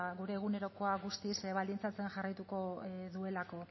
gure egunerokoa guztiz baldintzatzen jarraituko duelako